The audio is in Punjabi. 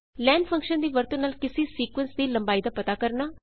ਲੇਨ ਫ਼ੰਕਸ਼ਨ ਦੀ ਵਰਤੋ ਨਾਲ ਕਿਸੀ ਸੀਕੁਏਂਸ ਦੀ ਲੰਬਾਈ ਦਾ ਪਤਾ ਕਰਨਾ